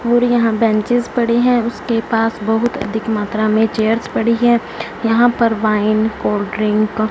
और यहां बेंचेज पड़े हैं उसके पास बहुत अधिक मात्रा में चेयर्स पड़ी है यहां पर वाइन कोल्ड ड्रिंक --